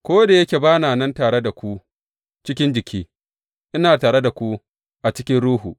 Ko da yake ba na nan tare da ku cikin jiki, ina tare da ku a cikin ruhu.